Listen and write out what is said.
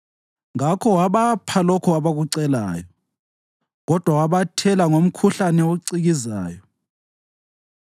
Ngakho wabapha lokho abakucelayo, kodwa wabathela ngomkhuhlane ocikizayo.